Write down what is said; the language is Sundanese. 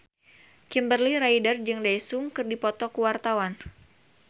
Kimberly Ryder jeung Daesung keur dipoto ku wartawan